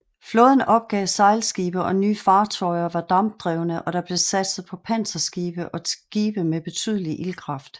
Flåden opgav sejlskibe og nye fartøjer var dampdrevne og der blev satset på panserskibe og skibe med betydelig ildkraft